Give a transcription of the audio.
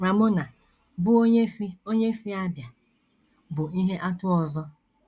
Ramona, bụ́ onye si onye si Abia, bụ ihe atụ ọzọ.